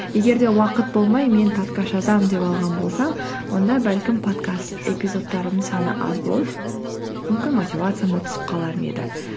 егер де уақыт болмай мен подкаст жазамын деп алған болсам онда бәлкім подкаст эпизодтарымның саны аз болып мүмкін мотивациям да түсіп қалар ма еді